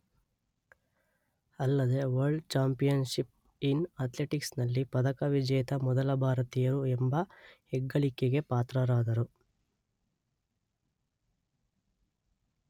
ಅಲ್ಲದೇ world championships in athletics ನಲ್ಲಿ ಪದಕ ವಿಜೇತ ಮೊದಲ ಭಾರತೀಯರು ಎಂಬ ಹೆಗ್ಗಳಿಕೆಗೆ ಪಾತ್ರರಾದರು